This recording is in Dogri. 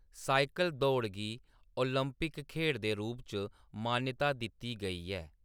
साइकल दौड़ गी ओलंपिक खेढ़ दे रूप च मानता दित्ती गेई ऐ।